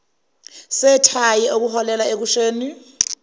sethayi okuholela ekushiseni